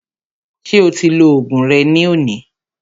Ṣé o ti lo oògùn rẹ ní òní?